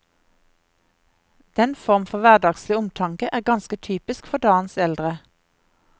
Den form for hverdagslig omtanke er ganske typisk for dagens eldre.